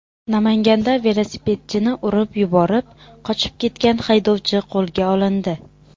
Namanganda velosipedchini urib yuborib, qochib ketgan haydovchi qo‘lga olindi.